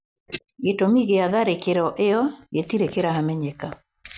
Gĩtũmi kĩa tharĩkĩro ĩo gĩtirĩ kĩramenyeka.